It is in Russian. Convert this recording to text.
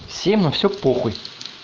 всм на все похуй